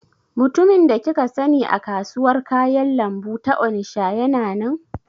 Mutumin da kika sani a kasuwar kayan lambu ta Onisha yana nan?